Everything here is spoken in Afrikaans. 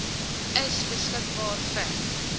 is beskikbaar vir